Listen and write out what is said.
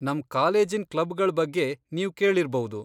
ನಮ್ ಕಾಲೇಜಿನ್ ಕ್ಲಬ್ಗಳ್ ಬಗ್ಗೆ ನೀವ್ ಕೇಳಿರ್ಬೌದು.